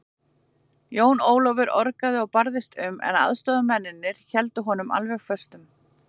Jón Ólafur orgaði og barðist um, en aðstoðarmennirnir héldu honum alveg föstum.